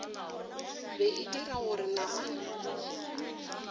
be e dira gore namana